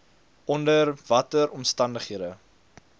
onder watter omstandighede